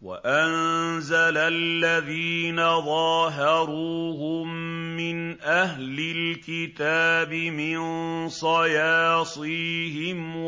وَأَنزَلَ الَّذِينَ ظَاهَرُوهُم مِّنْ أَهْلِ الْكِتَابِ مِن صَيَاصِيهِمْ